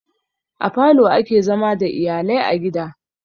A falo ake zama da iyalai a gida.